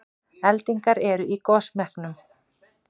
Eldingar eru í gosmekkinum